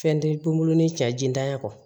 Fɛn tɛ kunburuni cɛ jintanya kɔ